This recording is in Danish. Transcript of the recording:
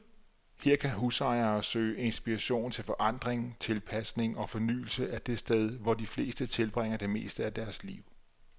Her kan husejere søge inspiration til forandring, tilpasning og fornyelse af det sted, hvor de fleste tilbringer det meste af deres liv.